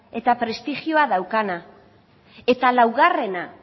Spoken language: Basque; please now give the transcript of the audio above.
eta prestigioa daukana eta laugarrena